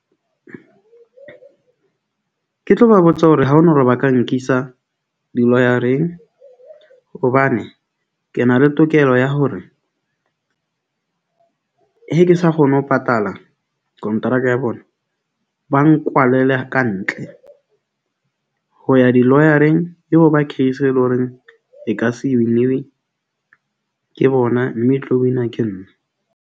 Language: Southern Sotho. Ke tlo ba botsa hore ha ho na hore ba ka nkisa di-lawyer-eng hobane ke na le tokelo ya hore. He ke sa kgone ho patala kontraka ya bona, ba nkwalele ka ntle, ho ya di lawyer-eng, ke hoba case e le ho reng e ka se e win-iwe ke bona, mme e tlo win-wa ke nna.